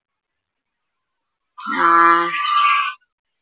ആഹ്